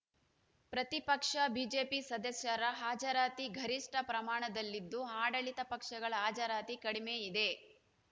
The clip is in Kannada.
ಪ್ರತಿಪಕ್ಷ ಬಿಜೆಪಿ ಸದಸ್ಯರ ಹಾಜರಾತಿ ಗರಿಷ್ಠ ಪ್ರಮಾಣದಲ್ಲಿದ್ದು ಆಡಳಿತ ಪಕ್ಷಗಳ ಹಾಜರಾತಿ ಕಡಿಮೆ ಇದೆ